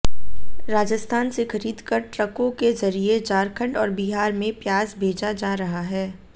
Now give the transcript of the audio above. राजस्थान से खरीदकर ट्रकों के जरिये झारखंड और बिहार में प्याज भेजा जा रहा है